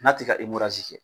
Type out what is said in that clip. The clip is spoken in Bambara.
N'a te ka kɛ.